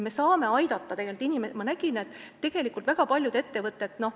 Me saame tegelikult aidata.